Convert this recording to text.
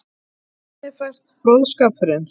Þannig fæst fróðskapurinn.